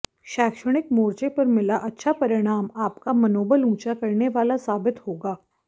शैक्षणिक मोर्चे पर मिला अच्छा परिणाम आपका मनोबल उंचा करने वाला साबित होगा